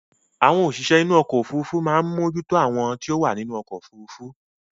Àwọn òṣìṣẹ́ inú ọkọ̀ òfurufú ní ó máa ń mójú tó àwọn tí ó wà nínú ọkọ̀ òfurufú